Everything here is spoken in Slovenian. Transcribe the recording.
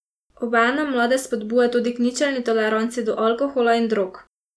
Obenem mlade spodbuja tudi k ničelni toleranci do alkohola in drog.